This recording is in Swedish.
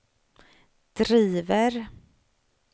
driver